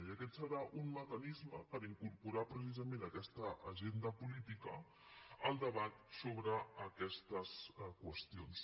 i aquest serà un mecanisme per incorporar precisament a aquesta agenda política el debat sobre aquestes qüestions